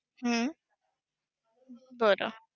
हम्म बरं!